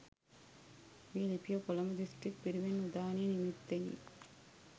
මෙම ලිපිය කොළඹ දිස්ත්‍රික් පිරිවෙන් උදානය නිමිත්තෙනි.